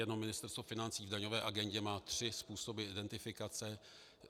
Jenom Ministerstvo financí v daňové agendě má tři způsoby identifikace.